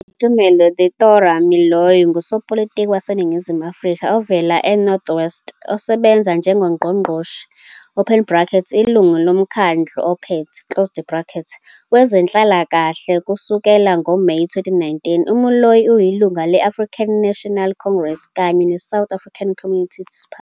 UBoitumelo Theodora Moiloa ngusopolitiki waseNingizimu Afrika ovela eNorth West osebenza njengoNgqongqoshe, Ilungu loMkhandlu Ophethe, Wezenhlalakahle kusukela ngoMeyi 2019. UMoiloa uyilungu le- African National Congress kanye neSouth African Communist Party.